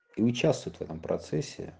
и участвуют в этом процессе